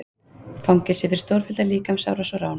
Fangelsi fyrir stórfellda líkamsárás og rán